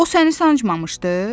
O səni sancmamışdı?